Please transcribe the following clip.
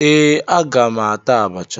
Ee, aga m ata abacha